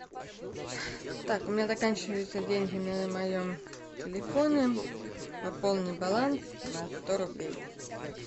так у меня заканчиваются деньги на моем телефоне пополни баланс на сто рублей